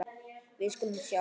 Við skulum sjá.